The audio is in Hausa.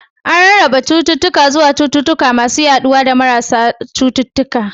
An rarraba cututtuka zuwa cututtuka masu yaduwa da marasa cututtuka